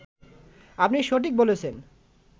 আপনি সঠিক বলেছেন